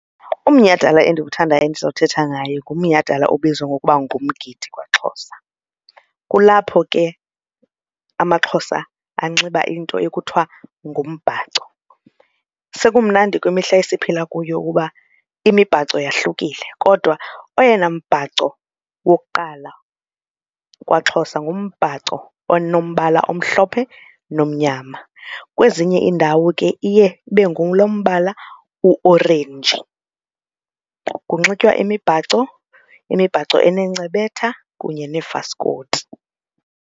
Umnyhadala endiwuthandayo endiza kuthetha ngaye ngomnyhadalala obizwa ngokuba ngumgidi kwaXhosa kulapho ke amaXhosa anxiba into ekuthiwa ngumbhaco. Sekumnandi kwimihla esiphila kuyo ukuba imibhaco yahlukile kodwa oyena mbhaco wokuqala kwaXhosa ngombhaco onombala omhlophe nomnyama, kwezinye iindawo ke iye ibe ngulo mbala uorenji. Kunxitywa imibhaco imibhaco enencebetha kunye neefaskoti.